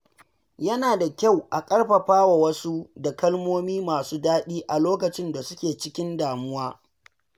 Yana da kyau a ƙarfafa wasu da kalmomi masu daɗi a lokacin da suke cikin damuwa.